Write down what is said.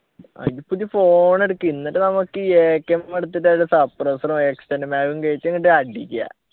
അയിന് പുതിയ phone എടുക്ക് എന്നിട്ട് നമുക്ക് AKseven എടുത്തിട്ട് അതിൻ്റെ suppressor ഉ extend ഉമ്മെ അതും കേറ്റി അങ്ങ്ട് അടിക്ക